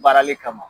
Baarali kama